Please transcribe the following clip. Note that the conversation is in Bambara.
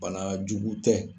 Bana jugu tɛ.